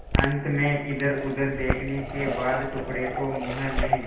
अंत में इधरउधर देखने के बाद टुकड़े को मुँह में